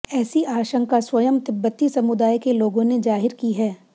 ऐसी आशंका स्वयं तिब्बती समुदाय के लोगों ने जाहिर की है